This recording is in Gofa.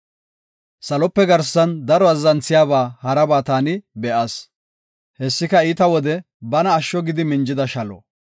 Salope garsan daro azzanthiyaba haraba taani be7as. Hessika iita wode bana asho gidi minjida shalo,